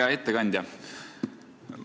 Hea ettekandja!